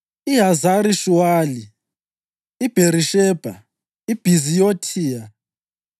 iHazari-Shuwali, iBherishebha, iBhiziyothiya,